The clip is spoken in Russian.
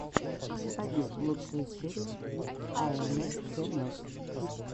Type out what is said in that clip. заводи лучшую серию аэнэсэнэс